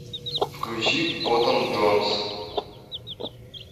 включи коттон джонс